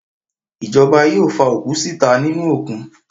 Ìjọba yóò fa òkú síta nínú òkun.